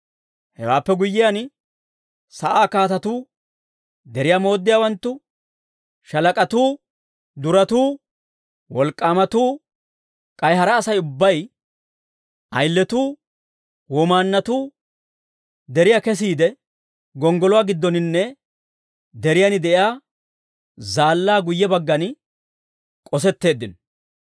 Hewaappe guyyiyaan, sa'aa kaatatuu, deriyaa mooddiyaawanttu, shaalak'atuu, duratuu, wolk'k'aamatuu, k'ay hara Asay ubbay, ayiletuu, womaanatuu, deriyaa kessiide, gonggoluwaa giddoninne deriyaan de'iyaa zaallaa guyye baggan k'osetteeddino.